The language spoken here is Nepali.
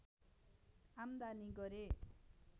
आम्दानी गरे